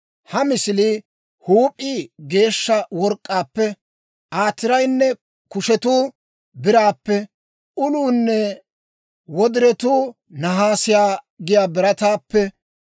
Ha misiliyaa huup'ii geeshsha work'k'aappe, Aa tiraynne kushetuu biraappe, uluunne wodiretuu nahaasiyaa giyaa birataappe,